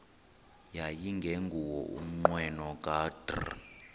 yayingenguwo umnqweno kadr